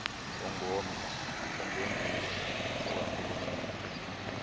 ongomnye ongenguwo okarhulumente